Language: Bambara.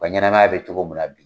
ka ɲanamaya bɛ cogo min na bi.